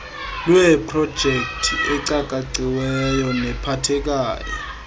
lweeprojekthi ecakaciweyo nephathekayo